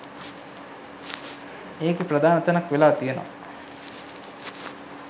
ඒකෙ ප්‍රධාන තැනක් වෙලා තියෙනවා